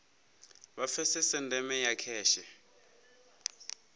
vha pfesese ndeme ya kheshe